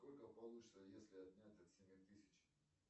сколько получится если отнять от семи тысяч